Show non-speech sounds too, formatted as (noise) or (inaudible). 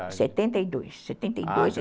setenta e dois, setenta e dois (unintelligible)